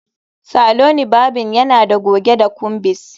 Saloni varbing yana da goge da combis